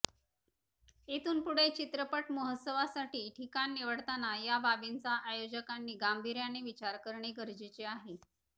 इथून पुढे चित्रपट महोत्सवासाठी ठिकाण निवडताना या बाबींचा आयोजकांनी गांभीर्याने विचार करणे गरजेचे आहे